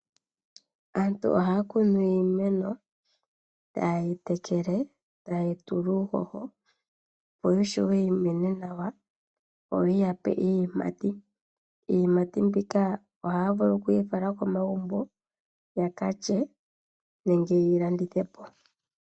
Aantu ohaya kunu iimeno tayeyi tekele, tayeyi tula uuhoho, opo yishuwe yimene nawa yoyi yape iiyimati, iiyimati mbika ohaya vulu okuyi fala komagumbo yakalye nenge yeyi landithe po.